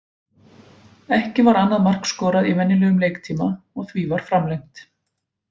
Ekki var annað mark skorað í venjulegum leiktíma og því var framlengt.